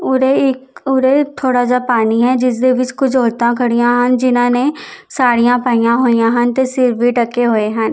ਉਰੇ ਇੱਕ ਉਰੇ ਥੋੜਾ ਜਿਹਾ ਪਾਣੀ ਹੈ ਜਿਸਦੇ ਵਿੱਚ ਕੁਝ ਔਰਤਾਂ ਖੜੀਆਂ ਹਨ ਜਿਨਾਂ ਨੇ ਸਾਡੀਆਂ ਪਾਈਆਂ ਹੋਈਆਂ ਹਨ ਤੇ ਸਿਰ ਵੀ ਡੱਕੇ ਹੋਏ ਹਨ।